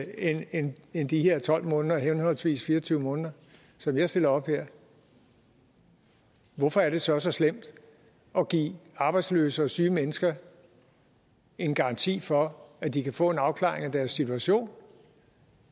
end end de her tolv måneder henholdsvis fire og tyve måneder som jeg stiller op her hvorfor er det så så slemt at give arbejdsløse og syge mennesker en garanti for at de kan få en afklaring af deres situation